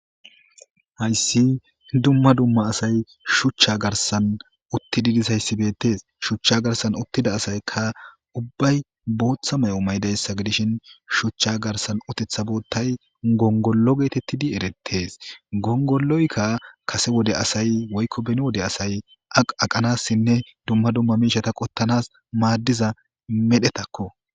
Hayssi dumma dumma asay shuchcha garsan uttidi disayssibetees shuchcha garsan uttida asayka ubbay booththa may'o maydayssa gidishin shuchcha garsan utetha boottay gongollo geetettidi erettees gongolloykka kase wode asay woykko beni wode asay aqaqanassinne dumma dumma miishata qottanas maaddiza medhetakko.